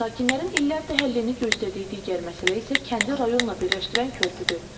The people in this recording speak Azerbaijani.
Sakinlərin illərdir həllini gözlədiyi digər məsələ isə kəndi rayonla birləşdirən körpüdür.